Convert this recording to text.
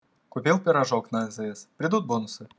купил пирожок на азс придут бонусы